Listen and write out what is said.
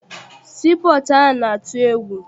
Sii pọọtụ ahụ na-atụ egwu.